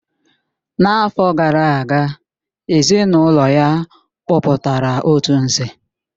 N'afọ gara aga, ezinụlọ ya kpọpụtara otu Nze